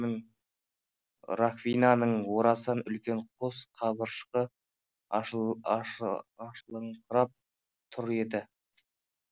раковинаның орасан үлкен қос қабыршағы ашылыңқырап тұр еді